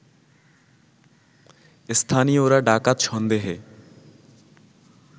স্থানীয়রা ডাকাত সন্দেহে